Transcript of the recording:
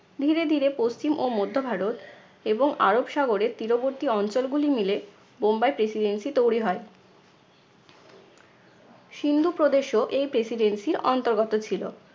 ধীরে ধীরে পশ্চিম ও মধ্য ভারত এবং আরব সাগরের তীরবর্তী অঞ্চলগুলি মিলে বোম্বাই presidency তৈরি হয়। সিন্ধু প্রদেশও এই presidency র অন্তর্গত ছিল।